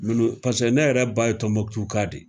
paseke ne yɛrɛ ba ye Tɔnbɔkutu ka de ye.